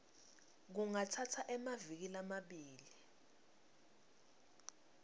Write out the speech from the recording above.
kungatsatsa emaviki lamabili